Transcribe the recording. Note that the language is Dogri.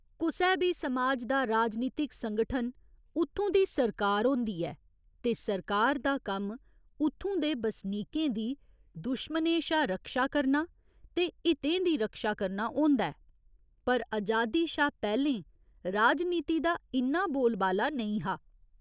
कुसै बी समाज दा राजनीतिक संगठन उत्थूं दी सरकार होंदी ऐ ते सरकार दा कम्म उत्थूं दे बसनीकें दी दुश्मनें शा रक्षा करना ते हितें दी रक्षा करना होंदा ऐ पर अजादी शा पैह्‌लें राजनीति दा इन्ना बोलबाला नेईं हा।